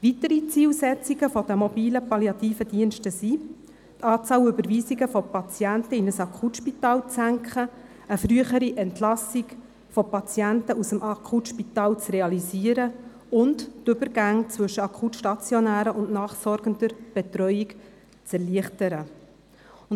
Weitere Zielsetzungen der MPD sind, die Anzahl Überweisungen von Patienten in ein Akutspital zu senken, eine frühere Entlassung von Patienten aus dem Akutspital zu realisieren und die Übergänge zwischen akut-stationärer und nachsorgender Betreuung zu erleichtern.